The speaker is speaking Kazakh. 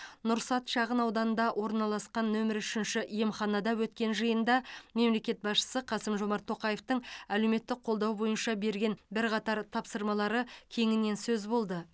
нұрсәт шағынауданында орналасқан нөмірі үшінші емханада өткен жиында мемлекет басшысы қасым жомарт тоқаевтың әлеуметтік қолдау бойынша берген бірқатар тапсырмалары кеңінен сөз болды